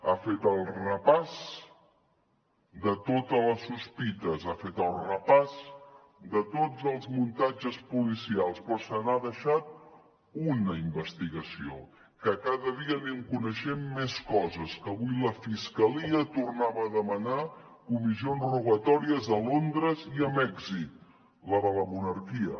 ha fet el repàs de totes les sospites ha fet el repàs de tots els muntatges policials però se n’ha deixat un en investigació que cada dia n’anem coneixent més coses que avui la fiscalia tornava a demanar comissions rogatòries a londres i mèxic la de la monarquia